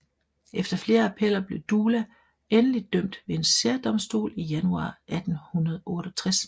Efter flere appeller blev Dula endeligt dømt ved en særdomstol i januar 1868